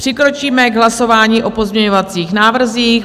Přikročíme k hlasování o pozměňovacích návrzích.